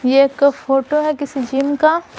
ये एक फोटो है किसी जिम का--